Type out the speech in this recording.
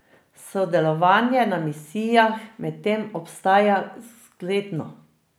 Sodelovanje na misijah medtem ostaja zgledno.